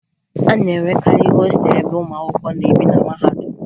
A na-enwekarị hostelụ ebe ụmụ akwụkwọ na-ebi na mahadum